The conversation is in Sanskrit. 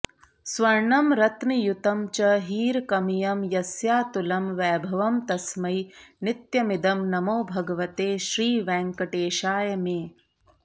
स्वर्णं रत्नयुतं च हीरकमयं यस्यातुलं वैभवं तस्मै नित्यमिदं नमो भगवते श्रीवेङ्कटेशाय मे